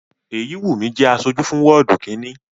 Èyíwùnmí jẹ́ aṣojú fún wọ́ọ̀dù kínni